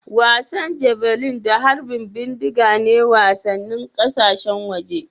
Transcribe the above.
Wasan Javelin da harbin bindiga ne wasannin ƙasashen waje